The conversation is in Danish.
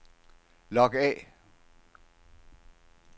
log af